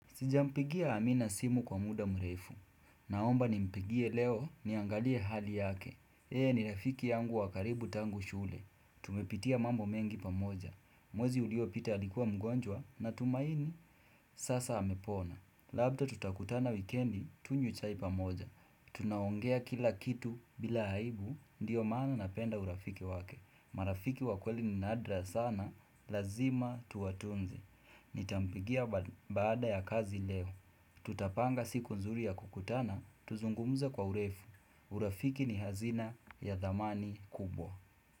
Sijampigia amina simu kwa muda mrefu. Naomba nimpigie leo niangalie hali yake. Yeye ni rafiki yangu wa karibu tangu shule. Tumepitia mambo mengi pamoja. Mwezi uliopita alikuwa mgonjwa natumaini sasa amepona. Labda tutakutana wikendi tunywe chai pamoja. Tunaongea kila kitu bila aibu ndio maana napenda urafiki wake. Marafiki wakweli ni nadra sana lazima tuwatunze. Nitampigia baada ya kazi leo Tutapanga siku nzuri ya kukutana Tuzungumze kwa urefu. Urafiki ni hazina ya dhamani kubwa.